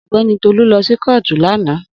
Ogbeni Tolu lo si kootu lana.